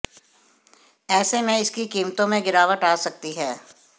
ऐसे में इसकी कीमतों में गिरावट आ सकती है